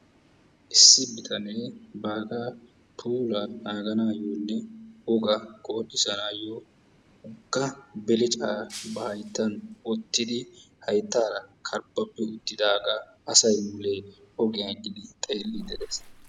Issi bitane bagaa puulaa naaganaayone wogaa qonccissanayo woga beleccaa ba hayttan wottidi hayttaara karbbabi uttidagaa asay mulee ogiyan eqqidi xeellidi de'ees.